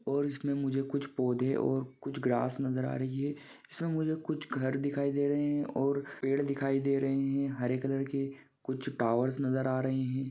और उसमे मुझे कुछ पौधे और कुछ ग्रास नजर आ रही है| इसमे मुझे कुछ घर दिखाई दे रहे हैं और पेड़ दिखाई दे रहे हैं | हरे कलर के कुछ टावर्स नजर आ रही है।